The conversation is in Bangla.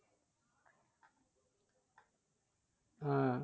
আহ